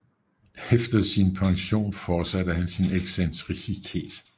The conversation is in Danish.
Efter sin pension forsatte han sin excentricitet